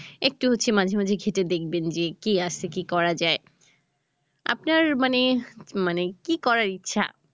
একটু হচ্ছে মাঝে মাঝে ঘেঁটে দেখবেন যে কি আছে কি করা যায়? আপনার মানে মানে কি করার ইচ্ছে?